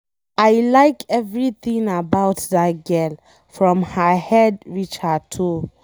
I like everything about dat girl, from her head reach her toe.